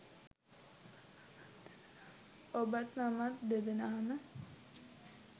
ඔබත් මමත් දෙදෙනාම